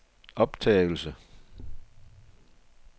optagelse